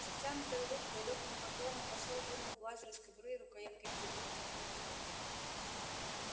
с натянутой улыбкой и лёгким поклоном посол вынул бластер из кобуры и рукояткой вперёд протянул его хардину